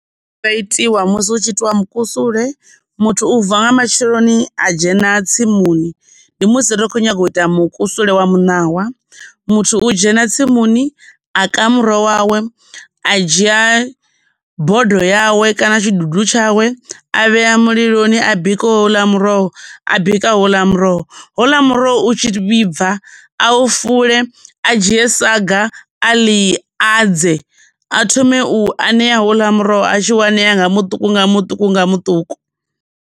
Itiwa musi hu tshi itiwa mukusule, muthu u vuwa nga matsheloni a dzhena tsimuni, ndi musi ri tshi khou nyanga u ita mukusule wa muṋawa, muthu u dzhena tsimuni a ka muroho wawe, a dzhia bodo yawe kana tshidudu tshawe a vhea muliloni a bika houḽa muroho a bika houla muroho houla muroho u tshi vhibva a u fule a dzhie saga a ḽi adze a thome u aṋea houḽa muroho a tshi aṋea nga muṱuku nga muṱuku nga muṱuku.